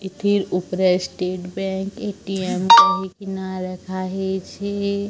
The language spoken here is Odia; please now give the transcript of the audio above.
ଏଠି ଉପରେ ଷ୍ଟେଟ ବ୍ୟାଙ୍କ ଏ_ଟି_ଏମ୍ କହିକିନା ଲେଖା ହେଇଚି।